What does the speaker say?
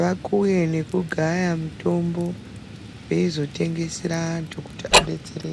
vakuye nekugaya mitombo veizotengesera antu kuti adetsereke.